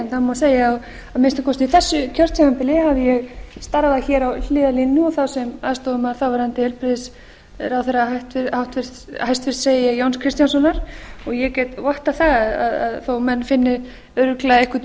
segja að á minnsta kosti þessu kjörtímabili hafi ég starfað hér á hliðarlínunni og þá sem aðstoðarmaður þáverandi heilbrigðisráðherra hæstvirtur jóns kristjánssonar ég get vottað það að þó menn finni örugglega einhvern